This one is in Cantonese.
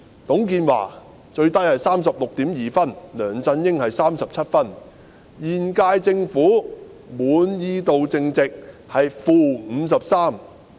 董建華最低是 36.2 分，梁振英是37分，現屆政府的滿意度淨值是 -53%。